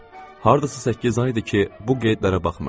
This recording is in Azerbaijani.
Hardasa səkkiz aydır ki, bu qeydlərə baxmırdım.